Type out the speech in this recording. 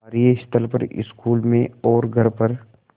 कार्यस्थल पर स्कूल में और घर पर